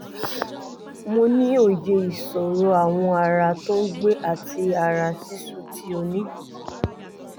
mo ní òye ìṣòro awọ ara tó ń gbẹ àti ara ṣíṣú tí o ní